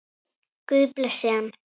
Guð blessi hann.